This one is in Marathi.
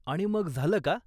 आणि मग झालं का?